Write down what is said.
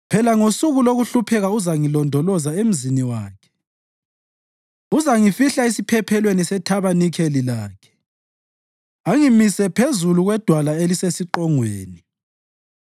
Phela ngosuku lokuhlupheka uzangilondoloza emzini wakhe, uzangifihla esiphephelweni sethabanikeli lakhe angimise phezulu kwedwala elisesiqongweni.